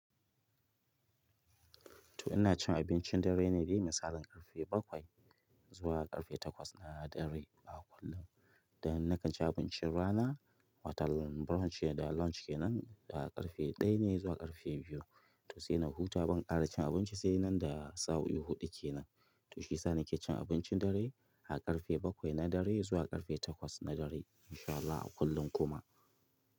To ina cin abincin dare ne dai misalin ƙarfe bakwai zuwa ƙarfe takwas na dare a kullum. Da na ka ci abincin rana wata brunche da launchen nan da ƙarfe ɗaya ne zuwa ƙarfe biyu. To sai na huta ban ƙara cin abinci sai nan da sa'o'i huɗu kenan. To shi sa ni ke cin abincin dare a ƙarfe bakwai na dare zuwa ƙarfe takwas na dare insha Allahi a kullum kuma.